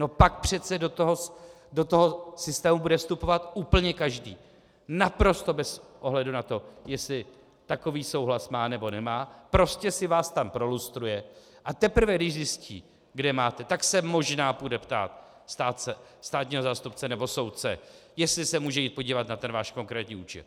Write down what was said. No pak přece do toho systému bude vstupovat úplně každý, naprosto bez ohledu na to, jestli takový souhlas má, nebo nemá, prostě si vás tam prolustruje, a teprve když zjistí, kde máte, tak se možná půjde ptát státního zástupce nebo soudce, jestli se může jít podívat na ten váš konkrétní účet.